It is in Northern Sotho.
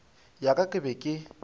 ya ka ke be ke